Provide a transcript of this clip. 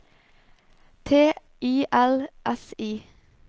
T I L S I